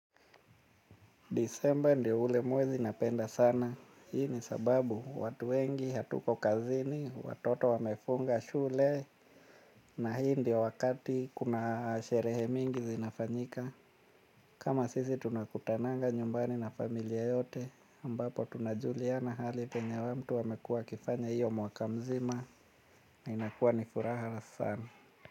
Disemba ndiyo ule mwezi napenda sana. Hii ni sababu watu wengi, hatuko kazini, watoto wamefunga shule na hii ndiyo wakati kuna sherehe mingi zinafanyika. Kama sisi tunakutananga nyumbani na familia yote ambapo tunajuliana hali penye mtu amekua akifanya hiyo mwaka mzima inakuwa nifuraha sana.